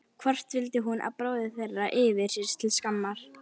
Hvort hún vildi að bróðir þeirra yrði sér til skammar?